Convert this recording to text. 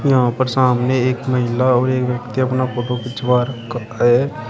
यहां पर सामने एक महिला और एक व्यक्ति अपना फोटो खिंचवा रखा है।